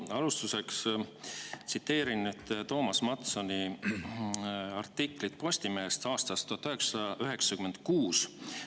Ma alustuseks tsiteerin Toomas Mattsoni artiklit Postimehest aastast 1996.